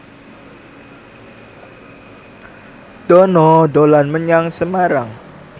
Dono dolan menyang Semarang